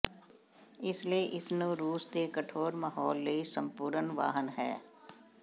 ਇਸ ਲਈ ਇਸ ਨੂੰ ਰੂਸ ਦੇ ਕਠੋਰ ਮਾਹੌਲ ਲਈ ਸੰਪੂਰਣ ਵਾਹਨ ਹੈ